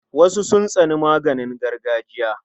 Wasu sun tsani maganin gargajiya.